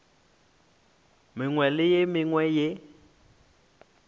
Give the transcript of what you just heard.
mengwe le ye mengwe ye